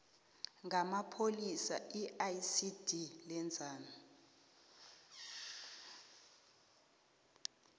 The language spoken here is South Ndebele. ngamapholisa iicd lenzani